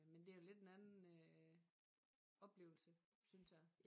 Men det jo lidt en anden øh oplevelse synes jeg